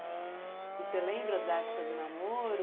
E você lembra da época do namoro?